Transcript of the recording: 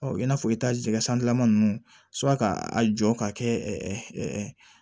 Ɔ i n'a fɔ i tajika san lama ninnu sura k'a jɔ ka kɛ